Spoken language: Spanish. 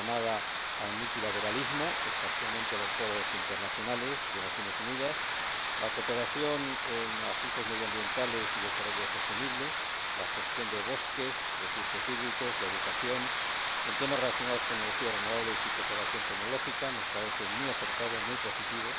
La llamada al multilateralismo, especialmente los foros internacionales de las Naciones Unidas, la cooperación en asuntos medioambientales, de desarrollo sostenible, de gestión de bosques y recursos hídricos, de educación, así como en temas relacionados con energías renovables y cooperación tecnológica nos parece muy acertada, muy positiva.